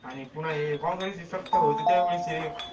आणि पुन्हा हे काँग्रेसची सत्ता होती त्यावेळेस हे